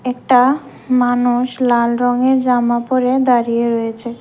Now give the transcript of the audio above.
একটা মানুষ লাল রঙের জামা পরে দাঁড়িয়ে রয়েছে।